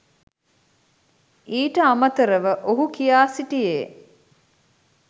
ඊට අමතරව ඔහු කියා සිටියේ